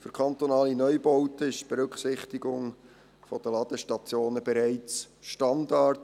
Für kantonale Neubauten ist die Berücksichtigung der Ladestationen bereits Standard.